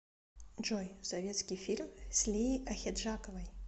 джой советский фильм с лией ахеджаковой